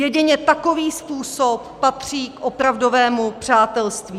Jedině takový způsob patří k opravdovému přátelství.